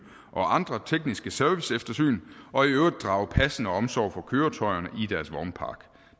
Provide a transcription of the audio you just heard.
og andre tekniske serviceeftersyn og i øvrigt drage passende omsorg for køretøjerne